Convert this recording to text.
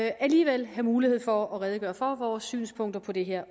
alligevel have mulighed for at redegøre for vores synspunkter på det her